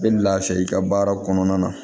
I bɛ lafiya i ka baara kɔnɔna na